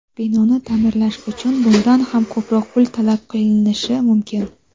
binoni ta’mirlash uchun bundan ham ko‘proq pul talab qilinishi mumkin.